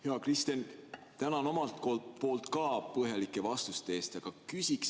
Hea Kristen, tänan omalt poolt ka põhjalike vastuste eest!